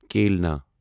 کِلنا